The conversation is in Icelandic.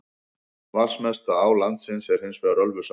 Vatnsmesta á landsins er hins vegar Ölfusá.